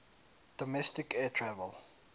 domestic air travel